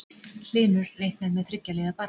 Hlynur reiknar með þriggja liða baráttu